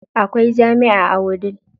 Akwai jami'a a Wudil.